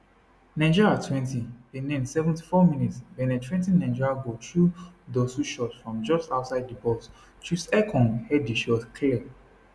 nigeriatwentybenin 74 mins benin threa ten nigeria goal through dossou shot from just outside di box troostekong head di shot clear